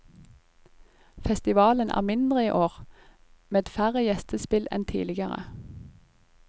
Festivalen er mindre i år, med færre gjestespill enn tidligere.